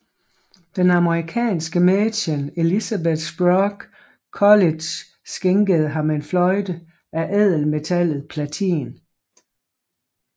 Den amerikanske mæcen Elizabeth Sprague Coolidge skænkede ham en fløjte af ædelmetallet platin